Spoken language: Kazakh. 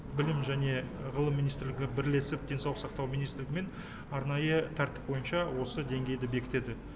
білім және ғылым министрлігі бірлесіп денсаулық сақтау министрлігімен арнайы тәртіп бойынша осы деңгейді бекітеді